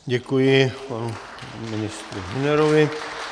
Děkuji panu ministru Hünerovi.